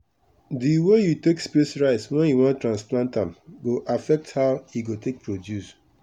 the way you take space rice when you wan transplant am go affect how e go take produce